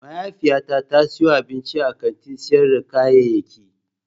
Mahaifiyata ta siyo abinci a kantin sayar da kayayyaki.